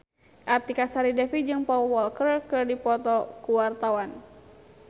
Artika Sari Devi jeung Paul Walker keur dipoto ku wartawan